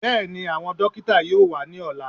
Bẹ́ẹ̀ni, àwọn dókítà yóò wá ní ọ̀lá